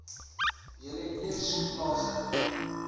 julle eers plaaslik